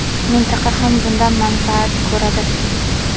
Mintaqa ham bundan manfaat ko‘radi.